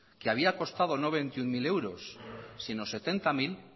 que había costado no veintiuno mil euros sino setenta mil